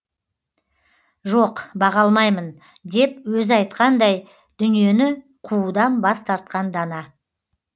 жоқ баға алмаймын деп өзі айтқандай дүниені қуудан бас тартқан дана